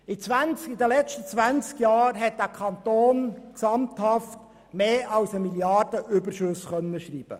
Während der letzten 20 Jahren konnte der Kanton gesamthaft über 1 Mrd. Franken Überschüsse schreiben.